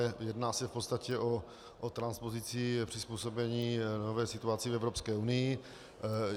Jedná se v podstatě o transpozici, přizpůsobení nové situaci v Evropské unii.